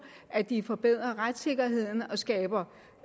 at de forbedrer retssikkerheden og skaber